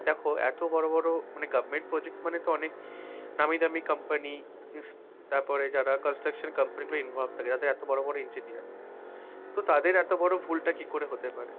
দেখ এত বড় বড় মানে government project মানে তো অনেক নামীদামি company তারপরে যারা construction company ও involve থাকে তাদের এত বড় বড় interior তো তাদের এতবড় ভুলটা কি করে হতে পারে?